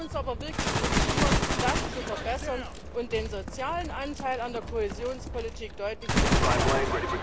Wir müssen uns aber wirklich darum kümmern, das zu verbessern und den sozialen Anteil an der Kohäsionspolitik deutlich zu verstärken.